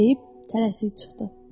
Deyib tələsik çıxdı.